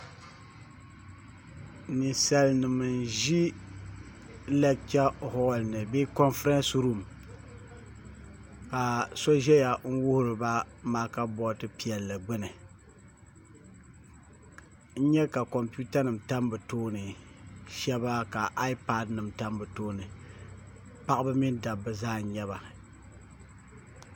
Ninsal nim n ʒi lɛgcha holl ni bee konfirɛns ruum ka so ʒɛya n wuhuriba maaka bood piɛlli gbuni n nyɛ ka kompiuta nim tam bi tooni shaba ka aaipad nim tam bo tooni paɣaba mini dabba zaa nyɛba